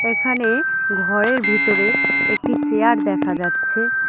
এখানে ঘরের ভিতরে একটি চেয়ার দেখা যাচ্ছে।